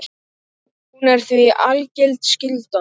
Hún er því algild skylda.